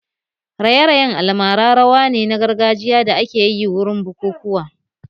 Raye-rayen almara rawa ne na gargajiya da akeyi wurin bukukuwa